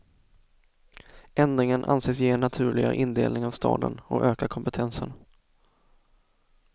Ändringen anses ge en naturligare indelning av staden och öka kompetensen.